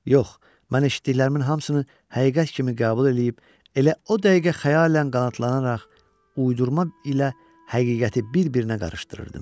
Yox, mən eşitdiklərimin hamısını həqiqət kimi qəbul eləyib elə o dəqiqə xəyalən qanadlanaraq uydurma ilə həqiqəti bir-birinə qarışdırırdım.